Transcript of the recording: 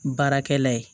Baarakɛla ye